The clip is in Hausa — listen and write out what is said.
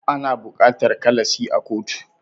Ana bukatar ikhlasi a kotu